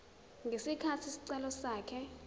ngesikhathi isicelo sakhe